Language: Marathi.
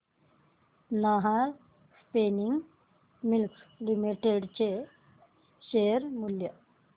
नाहर स्पिनिंग मिल्स लिमिटेड चे शेअर मूल्य